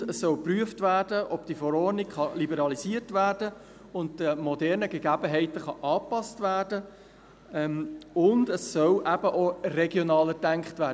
Zudem soll geprüft werden, ob die Verordnung liberalisiert und den modernen Gegebenheiten angepasst werden kann, und es soll eben auch regionaler gedacht werden.